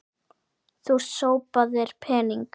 Þú sópaðir pening.